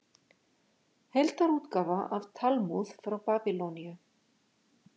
Heildarútgáfa af Talmúð frá Babýloníu.